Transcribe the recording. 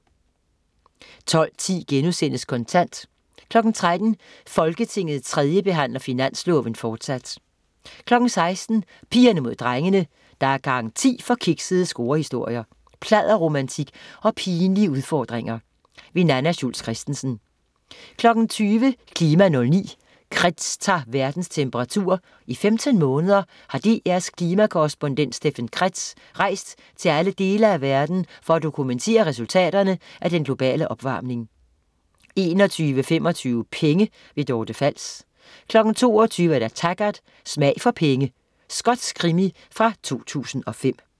12.10 Kontant* 13.00 Folketinget 3. behandler finansloven, fortsat 16.00 Pigerne mod drengene. Der er garanti for kiksede scorehistorier, pladderromantik og pinlige udfordringer. Nanna Schultz Christensen 20.00 KLIMA 09: Kretz tager verdens temperatur. I 15 måneder har DR's klimakorrespondent Steffen Kretz rejst til alle dele af verden for at dokumentere resultaterne af den globale opvarmning 21.25 Penge. Dorte Fals 22.00 Taggart: Smag for penge. Skotsk krimi fra 2005